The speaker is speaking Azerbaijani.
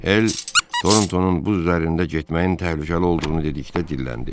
Hel Torntonun buz üzərində getməyin təhlükəli olduğunu dedikdə dilləndi.